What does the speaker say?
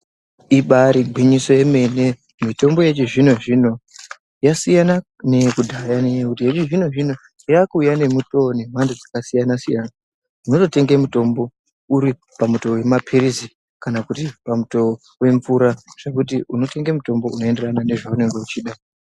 Ibairi ngwinyiso yemene mitombo yechi zvino zvino yasiyana neye kudhaya ne nyaya yekuti yechi zvino zvino yaku uya ne mutowo ne mhando dzaka siyana siyana tinoto tenge mitombo uripa mutowo we mapilizi kana kuti pa mutuwo we mvura zvekuti uno tenge mutombo uno enderana nezve unenge uchida.